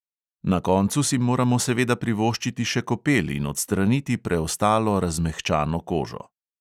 Na koncu si moramo seveda privoščiti še kopel in odstraniti preostalo razmehčano kožo.